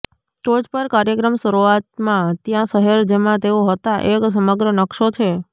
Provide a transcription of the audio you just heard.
ટોચ પર કાર્યક્રમ શરૂઆતમાં ત્યાં શહેર જેમાં તેઓ હતા એક સમગ્ર નકશો છે